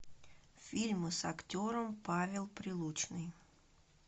фильмы с актером павел прилучный